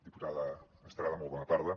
diputada estrada molt bona tarda